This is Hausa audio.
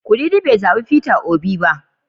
Kudidi bai zabi Peter Obi ba.